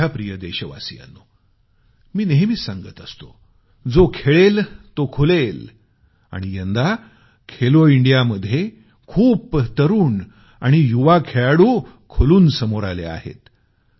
माझ्या प्रिय देशवासियांनो मी नेहमीच सांगतो की जो खेळेल तो खुलेल आणि यंदा खेलो इंडियामध्ये खूप सारे तरुण आणि युवा खेळाडू खुलून समोर आले आहेत